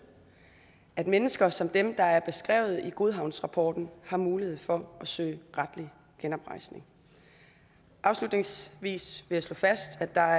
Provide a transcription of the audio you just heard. at mennesker som dem der er beskrevet i godhavnsrapporten har mulighed for at søge retlig oprejsning afslutningsvis vil jeg slå fast at der